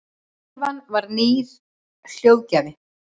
tölvan er nýr hljóðgjafi